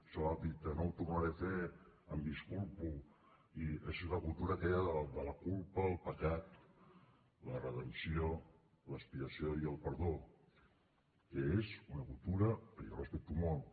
això que ha dit no ho tornaré a fer em disculpo és la cultura aquella de la culpa el pecat la redempció l’expiació i el perdó que és una cultura que jo respecto molt